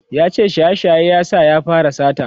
yace shaye shaye ya sa ya fara sata